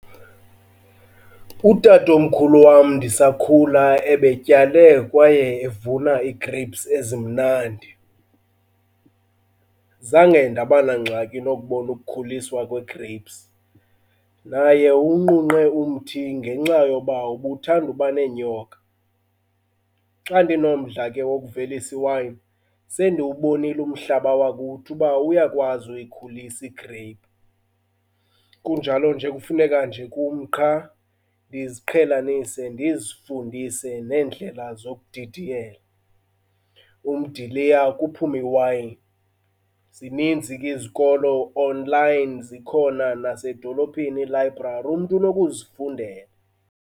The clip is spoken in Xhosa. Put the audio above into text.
Utatomkhulu wam ndisakhula ebetyale kwaye evuna ii-grapes ezimnandi. Zange ndaba nangxaki nokubona ukukhuliswa kwe-grapes, naye uwunqunqe umthi ngenxa yoba ubuthanda uba neenyoka. Xa ndinomdla ke wokuvelisa iwayini sendiwubonile umhlaba wakuthi uba uyakwazi uyikhulisa i-grape, kunjalo nje kufuneka nje kum qha ndiziqhelanise ndizifundise neendlela zokudidiyela umdiliya kuphume iwayini. Zininzi ke izikolo online zikhona nasedolophini ii-library, umntu unokuzifundela.